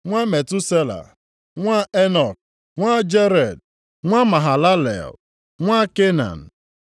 nwa Metusela, nwa Enọk, nwa Jared, nwa Mahalalel, nwa Kenan;